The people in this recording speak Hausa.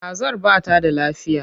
Kazar ba ta da lafiya.